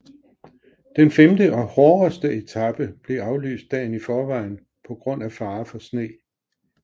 Den femte og hårdeste etape blev aflyst dagen i forvejen på grund af fare for sne